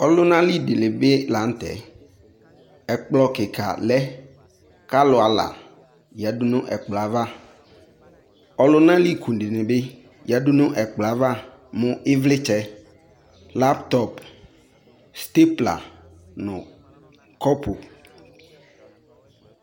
Ɔluna li de li be lantɛ Ɛkplɔ kika lɛ kɔ alu ala yadu no ɛkplɔɛ ava Ɔluna li ku dene yadu no ɛkplɔɛ ava mo evletsɛ, laptɔp, stepla no kɔbu